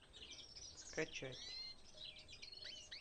скачать